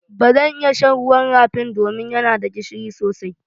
Ba zan iya shan ruwan rafin do min ya na da gishiri sosai.